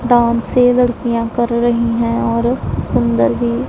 डांसे लड़कियां कर रही है और सुंदर भी--